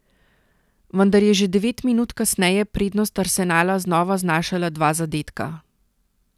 Vendar je že devet minut kasneje prednost Arsenala znova znašala dva zadetka.